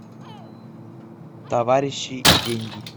товарищи и деньги